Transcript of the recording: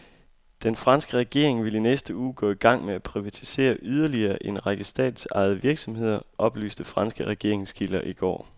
Den franske regering vil i næste uge gå i gang med at privatisere yderligere en række statsejede virksomheder, oplyste franske regeringskilder i går.